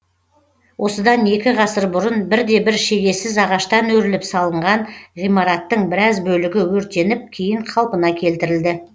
осыдан екі ғасыр бұрын бірде бір шегесіз ағаштан өріліп салынған ғимараттың біраз бөлігі өртеніп кейін қалпына келтірілді